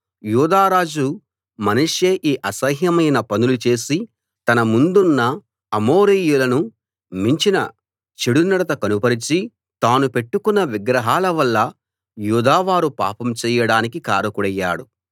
యూదా రాజు మనష్షే ఈ అసహ్యమైన పనులు చేసి తన ముందున్న అమోరీయులను మించిన చెడునడత కనుపరచి తాను పెట్టుకొన్న విగ్రహాల వల్ల యూదావారు పాపం చెయ్యడానికి కారకుడయ్యాడు